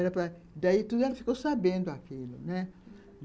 Era para... Daí tudo ela ficou sabendo aquilo, né? Uhum.